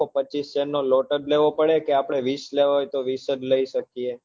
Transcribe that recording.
પચીશ share ની lot જ લેવો પડે કે આપડે વીસ લેવા હોય તો વીસ જ લઇ શકીએ